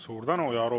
Suur tänu!